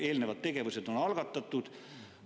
Eelnevad tegevused on algatatud.